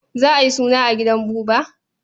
Za a yi suna a gidan Buba?